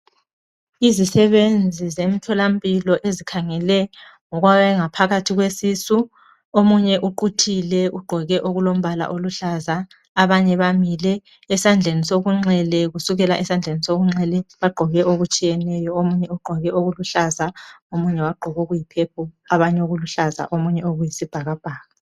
Izisebenzi zemtholampilo ezikhangele ngokwangaphakathi kwesisu omunye uquthile ugqoke okulombala oluhlaza abanye bamile, esandleni sokunxele kusukela esandleni sokunxele bagqoke okutshiyeneyo omunye ugqoke okuluhlaza omunye okuyi purple omunye okuyisibhakabhaka